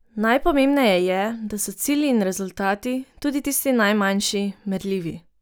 Najpomembneje je, da so cilji in rezultati, tudi tisti najmanjši, merljivi.